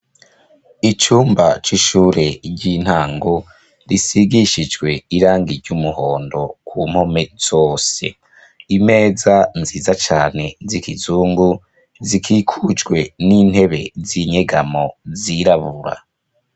Icumba c’ishure ry’intango risigishijwe irangi ry’umuhondo kumpome zose, imeza nziza cane zikizungu zikikujwe nintebe zinyegamo zirabura.